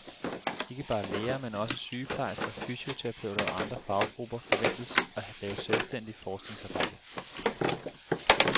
Ikke bare læger, men også sygeplejersker, fysioterapeuter og andre faggrupper forventes at lave selvstændigt forskningsarbejde.